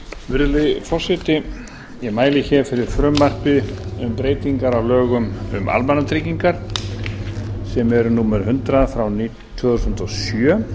virðulegi forseti ég mæli hér fyrir frumvarpi um breytingar á lögum um almannatryggingar sem eru númer hundrað frá tvö þúsund og sjö